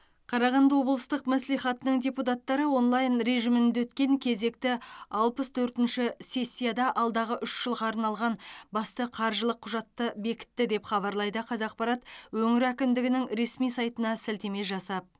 қарағанды облыстық мәслихатының депутаттары онлайн режимінде өткен кезекті алпыс төртінші сессияда алдағы үш жылға арналған басты қаржылық құжатты бекітті деп хабарлайды қазақпарат өңір әкімдігінің ресми сайтына сілтеме жасап